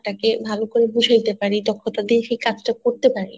টা কে ভালো করে বুঝায়তে পারি কাজ টা করতে পারে